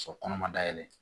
Sɔrɔ kɔnɔ ma dayɛlɛ